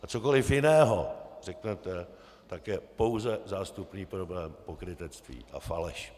A cokoliv jiného řeknete, tak je pouze zástupný problém, pokrytectví a faleš.